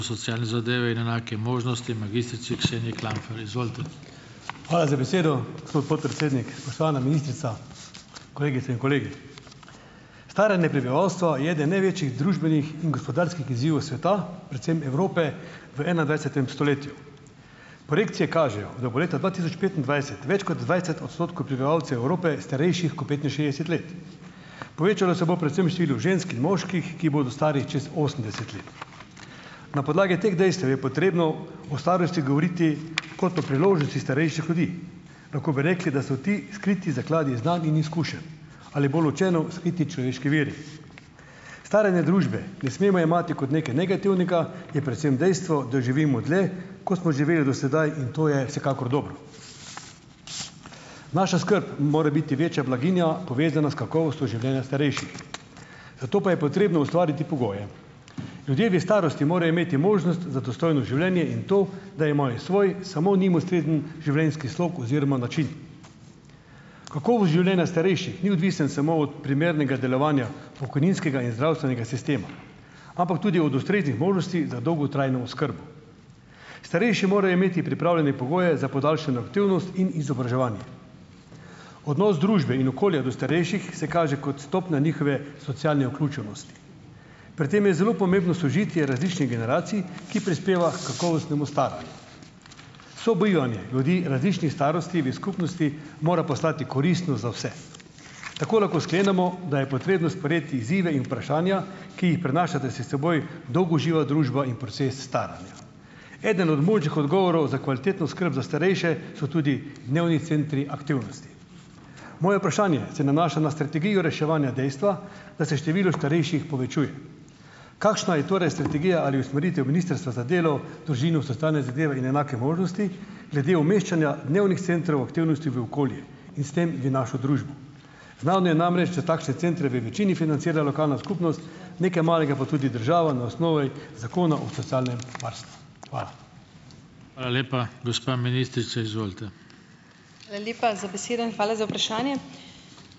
Hvala za besedo, gospod podpredsednik. Spoštovana ministrica, kolegice in kolegi! Staranje prebivalstva je eden največjih družbenih in gospodarskih izzivov sveta, predvsem Evrope v enaindvajsetem stoletju. Projekcije kažejo, da bo leta dva tisoč petindvajset več kot dvajset odstotkov prebivalcev Evrope starejših kot petinšestdeset let. Povečalo se bo predvsem število žensk in moških, ki bodo stari čez osemdeset let. Na podlagi teh dejstev je potrebno o starosti govoriti kot o priložnosti starejših ljudi. Tako bi rekli, da so ti skriti zakladi znanj in izkušenj, ali bolj učeno: skriti človeški viri. Staranje družbe ne smemo jemati kot nekaj negativnega, je predvsem dejstvo, da živimo dlje, kot smo živeli do sedaj, in to je vsekakor dobro. Naša skrb in morebiti večja blaginja, povezana s kakovostjo življenja starejših. Za to pa je potrebno ustvariti pogoje. Ljudje v starosti morajo imeti možnost za dostojno življenje in to, da je moje-svoj samo njim ustrezen življenjski slog oziroma način. Kakovost življenja starejših ni odvisna samo od primernega delovanja pokojninskega in zdravstvenega sistema, ampak tudi od ustreznih možnosti za dolgotrajno oskrbo. Starejši morajo imeti pripravljene pogoje za podaljšano aktivnost in izobraževanje. Odnos družbe in okolja do starejših se kaže kot stopna njihove socialne vključenosti. Pri tem je zelo pomembno sožitje različnih generacij, ki prispeva h kakovostnemu staranju. Sobivanje ljudi različnih starosti v skupnosti mora postati koristno za vse. Tako lahko sklenemo, da je potrebno sprejeti izzive in vprašanja, ki jih prinašata s seboj dolgoživa družba in proces staranja. Eden od možnih odgovorov za kvalitetno skrb za starejše so tudi dnevni centri aktivnosti. Moje vprašanje se nanaša na strategijo reševanja dejstva, da se število starejših povečuje. Kakšna je torej strategija ali usmeritev Ministrstva za delo, družino, socialne zadeve in enake možnosti glede umeščanja dnevnih centrov aktivnosti v okolje in s tem v našo družbo? Znano je namreč, da takšne centru v večini financira lokalna skupnost, nekaj malega pa tudi država na osnovi Zakona o socialnem varstvu. Hvala.